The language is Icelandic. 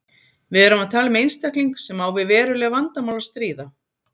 Við erum að tala um einstakling sem á við veruleg vandamál að stríða.